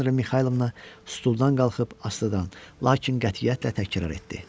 Aleksandra Mixaylovna stuldan qalxıb astadan, lakin qətiyyətlə təkrarladı.